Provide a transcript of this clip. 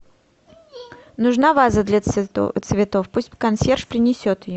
нужна ваза для цветов пусть консьерж принесет ее